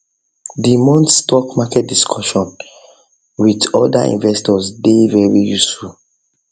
the month stock market discussion stock market discussion with other investors dey very useful